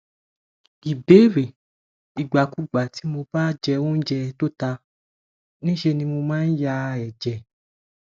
ìbéèrè ìgbàkigbà tí mo bá jẹ oúnjẹ tó ta ńṣe ni mo maa n ya eje